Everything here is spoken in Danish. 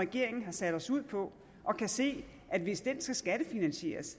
regeringen har sat os ud på og kan se at hvis den skal skattefinansieres